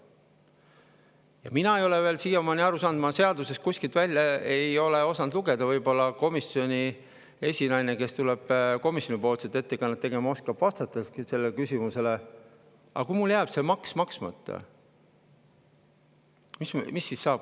Ja mina ei ole veel siiamaani aru saanud, ma ei ole osanud seda seadusest kuskilt välja lugeda – võib-olla komisjoni esinaine, kes tuleb komisjonipoolset ettekannet tegema, oskab vastata sellele küsimusele –, mis siis saab, kui mul jääb see maks maksmata.